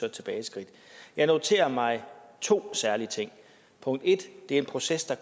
et tilbageskridt jeg noterer mig to særlige ting punkt 1 det er en proces der